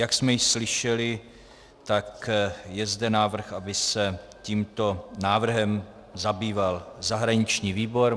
Jak jsme již slyšeli, tak je zde návrh, aby se tímto návrhem zabýval zahraniční výbor.